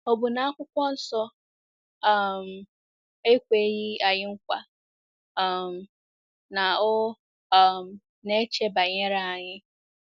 Ọ bụ na Akwụkwọ Nsọ um ekweghị anyị nkwa um na ọ um na-eche banyere anyị?